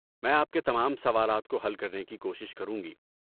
میں آپ کے تمام سوالات کو حل کرنے کی کوشش کروں گی۔